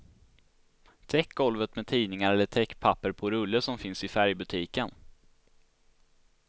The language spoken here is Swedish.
Täck golvet med tidningar eller täckpapper på rulle som finns i färgbutiken.